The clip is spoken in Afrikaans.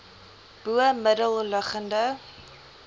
bo middel liggende